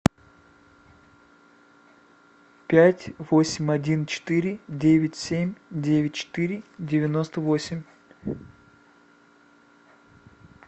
пять восемь один четыре девять семь девять четыре девяносто восемь